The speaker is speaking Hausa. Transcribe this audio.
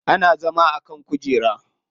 Ana zama a kan kujera.